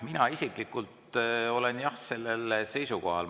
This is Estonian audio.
Mina isiklikult olen sellel seisukohal.